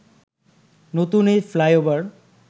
নতুন এই ফ্লাইওভার